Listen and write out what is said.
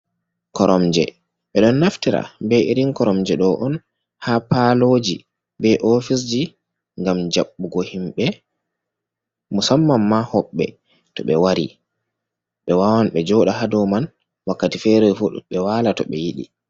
Koromje, ɓe ɗon naftira be irin koromje ɗo on ha paaloji, be ofisji ngam jaɓɓugo himɓe, musamman ma hoɓɓe to ɓe wari ɓe waawan ɓe jooɗa ha dow man wakkati fere fu ɓe waala to ɓe yiɗi.